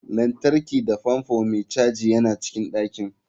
Lantarki da fanfo mai caji yana cikin ɗakin.